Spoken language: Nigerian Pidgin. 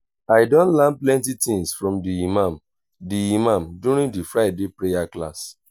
i don learn plenty things from the imam the imam during di friday prayer class.